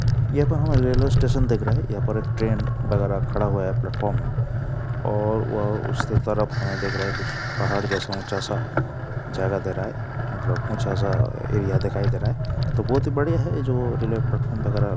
यहाँ railway station दिख रहा हैं। यहाँ पर ट्रेन वगेरा खड़ा हुआ हैं प्लेटफॉर्म में और वह उसके तरफ हमे दिख रहा हैं कुछ पहाड़ जैसा ऊँचा सा जगह दे रहा हैं मतलब ऊँचा सा एरिया दिखाई दे रहा है तो बहोत ही बढ़िया हैं ये जो रेलवे प्लेटफॉर्म वगेरा --